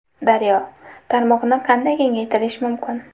Daryo: Tarmoqni qanday kengaytirish mumkin?